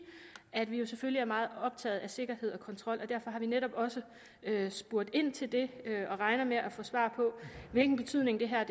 at vi jo selvfølgelig er meget optaget af sikkerhed og kontrol og derfor har vi netop også spurgt ind til det og regner med at få svar på hvilken betydning det her